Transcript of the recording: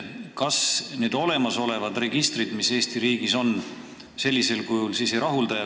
Kas need olemasolevad registrid, mis Eesti riigis on, senisel kujul ei rahulda?